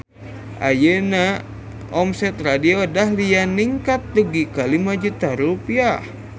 Ayeuna omset Radio Dahlia ningkat dugi ka 5 juta rupiah